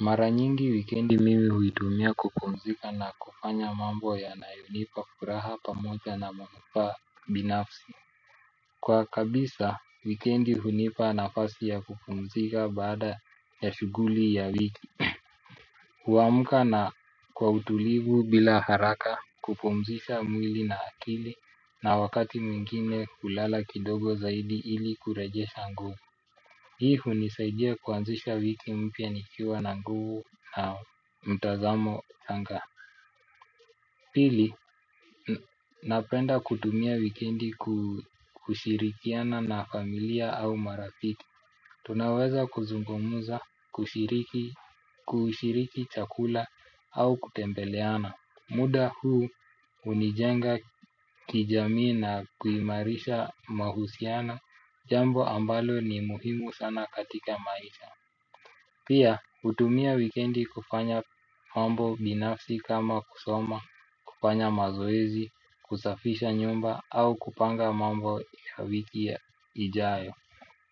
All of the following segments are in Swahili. Mara nyingi wikendi mimi huitumia kupumzika na kufanya mambo yanayonipa furaha pamoja na manufaa binafsi. Kwa kabisa wikendi hunipa nafasi ya kupumzika baada ya shughuli ya wiki huamka na kwa utulivu bila haraka kupumzisha mwili na akili na wakati mwingine hulala kidogo zaidi ili kurejesha nguvu hii hunisaidia kuanzisha wiki mpya nikiwa na nguvu na mtazamo tanga pili napenda kutumia wikendi kushirikiana na familia au marafiki tunaweza kuzungumuza kushiriki kushiriki chakula au kutembeleana muda huu hunijenga kijamii na kuimarisha mahusiano jambo ambalo ni muhimu sana katika maisha. Pia, hutumia wikendi kufanya mambo binafsi kama kusoma, kufanya mazoezi, kusafisha nyumba au kupanga mambo ya wiki ya ijayo.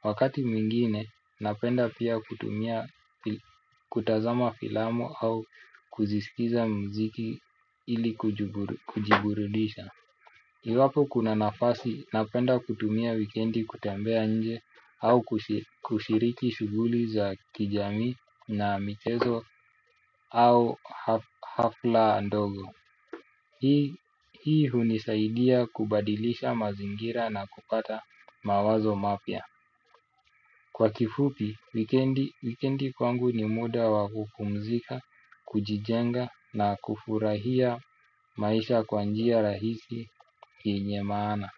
Wakati mwingine, napenda pia kutumia kutazama filamu au kuzisikiza mziki ili kujiburudisha. Iwapo kuna nafasi, napenda kutumia wikendi kutembea nje au kushiriki shughuli za kijami na mchezo au hafla ndogo. Hii hunisaidia kubadilisha mazingira na kupata mawazo mapya. Kwa kifupi, wikendi kwangu ni muda wa kupumzika, kujijenga na kufurahia maisha kwa njia rahisi yenye maana.